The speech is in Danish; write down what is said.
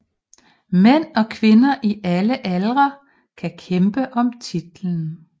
Mænd og kvinder i alle aldre kan kæmpe om titlen